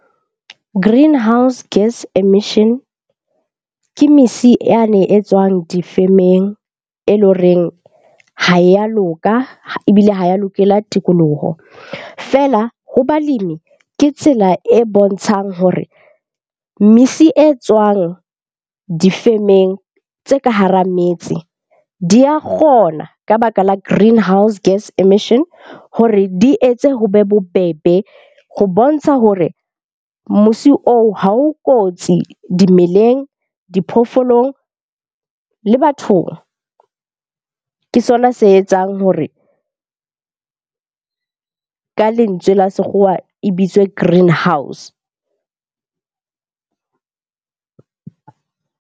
Greenhouse gas emission. Ke misi yane e tswang difemeng, e leng horeng ha ya loka ebile ha ya lokela tikoloho. Feela ho balemi ke tsela e bontshang hore misi e tswang difemeng tse ka hara metse di ya kgona ka baka la greenhouse gas emission. Hore di etse ho be bobebe ho bontsha hore mosi oo ha o kotsi dimeleng, diphoofolong le bathong. Ke sona se etsang hore ka lentswe la sekgowa e bitswe Greenhouse.